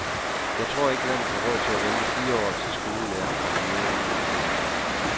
Jeg tror ikke landet har råd til at vente fire år til skolelærerne kommer mere ind i edb.